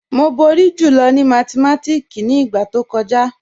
Mo bọ̀rí jùlọ̀ ni mátìmátíkì ni igba tó kọja.